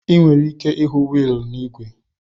Ị nwere ike ịhụ wiili n'ígwè.